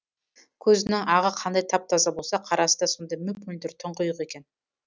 көзінің ағы қандай тап таза болса қарасы да сондай мөп мөлдір тұңғиық екен